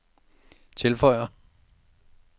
tilføjer